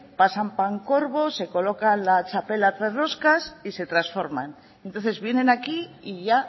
pasan pancorbo se colocan la txapela a tres roscas y se transforman entonces vienen aquí y ya